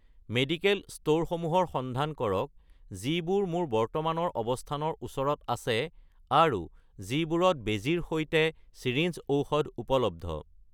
medical ষ্ট'ৰসমূহৰ সন্ধান কৰক যিবোৰ মোৰ বৰ্তমানৰ অৱস্থানৰ ওচৰত আছে আৰু যিবোৰত বেজীৰ সৈতে চিৰিঞ্জ ঔষধ উপলব্ধ